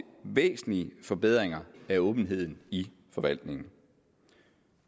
væsentlige forbedringer af åbenheden i forvaltningen